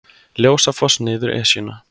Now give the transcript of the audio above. Ljósafoss niður Esjuna